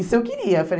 Isso eu queria. Falei